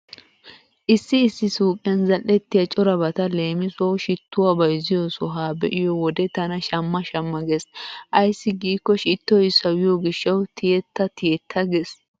Issi issi suuqiyan zal"ettiya corabata leemisuwawu shittuwa bayzxiyo soha be'iyo wode tana shamma shamma gees. Ayssi giikko shittoy sawiyo gishshawu tiyetta tiyetta gees.